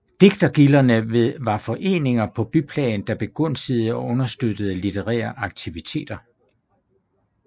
Digtergilderne var foreninger på byplan der begunstigede og understøttede litterære aktiviteter